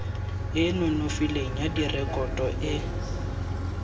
e nonofileng ya direkoto e